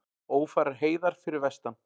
Ófærar heiðar fyrir vestan